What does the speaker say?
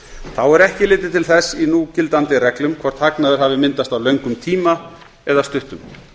þá er ekki litið til þess í núgildandi reglum hvort hagnaður hafi myndast á löngum tíma eða stuttum